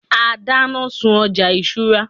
a dana sun ọja isura